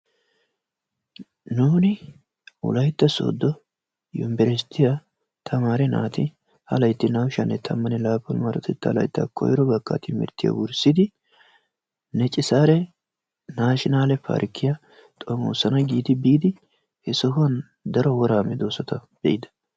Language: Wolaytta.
Nuuni wolaytta sodo yunburushiyaa tamaariyaa naati ha laytti naa"u sha"anne tammanne laappun marotettaa layttaa koyro bakkaa wurssidi neecci saare naashinale parkkiyaa xoomosana giidi biidi he sohuwaan daro woraa meedosata be'ida.